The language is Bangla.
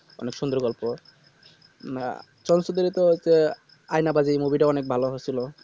অনেক সুন্দর গল্প না চলচিত্র তো একটা আয়না পাখির movie তা অনেক ভালো